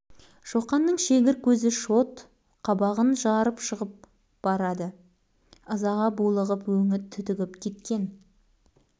шоқан кілт тоқтады қарсы алдында қасқайып бауыржан тұр бауыржанның қап-қара мөлдір көзі жайнап ширығып алған бір